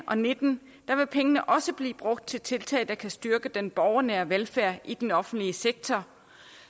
og nitten vil pengene også blive brugt til tiltag der kan styrke den borgernære velfærd i den offentlige sektor